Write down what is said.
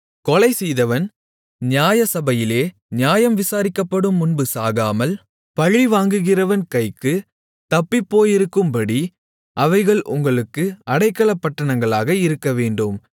கொலைசெய்தவன் நியாயசபையிலே நியாயம் விசாரிக்கப்படும் முன்பு சாகாமல் பழிவாங்குகிறவன் கைக்குத் தப்பிப்போயிருக்கும்படி அவைகள் உங்களுக்கு அடைக்கலப்பட்டணங்களாக இருக்கவேண்டும்